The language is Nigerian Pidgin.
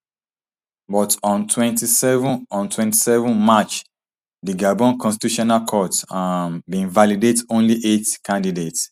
but on twenty-seven on twenty-seven march di gabon constitutional court um bin validate only eight candidates